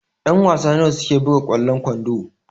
Ƴan-wasa nawa suke buga kwallon kwando?